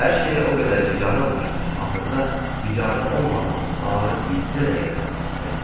Hər şeyə o qədər bicənə olmuşdum ki, axırda bicənə olmadığım barı bircə dəqiqə tapmaq istəyirdim.